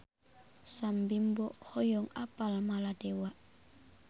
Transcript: Sam Bimbo hoyong apal Maladewa